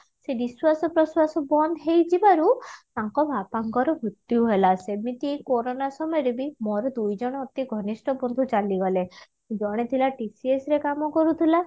ସେ ନିଶ୍ଵାସ ପ୍ରଶ୍ଵାସ ବନ୍ଦ ହେଇ ଯିବାରୁ ତାଙ୍କ ବାପାଙ୍କର ମୃତ୍ୟୁ ହେଲା ସେମିତି କରୋନା ସମୟରେ ବି ମୋର ଦୁଇଜଣ ଅତି ଘନିଷ୍ଠ ବନ୍ଧୁ ଚାଲି ଗଲେ ଜଣେ ଥିଲା TCS ରେ କାମ କରୁଥିଲା